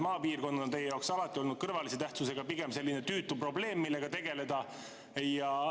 Maapiirkond on teie jaoks alati olnud kõrvalise tähtsusega, pigem selline tüütu probleem, millega tegeleda.